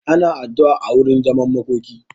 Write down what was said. Ana addu'a a wurin zaman makoki.